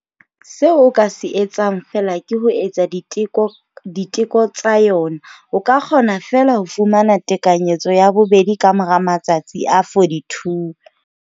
Seo o ka se etsang feela ke ho etsa diteko diteko tsa yona. O ka kgona feela ho fumana tekanyetso ya bobedi ka mora matsatsi a 42.